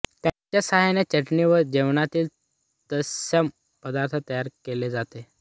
त्यांच्या साहाय्याने चटणी वा जेवणातील तत्सम पदार्थ तयार केले जात